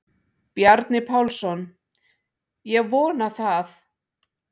Bjarni Pálsson: Ég vona það.